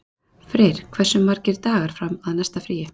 Freyr, hversu margir dagar fram að næsta fríi?